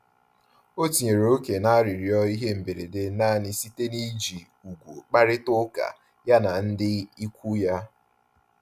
O tinyere ókè na-arịrịọ ihe mberede nanị site na iji ùgwù kparịta uka ya na ndị ịkwụ ya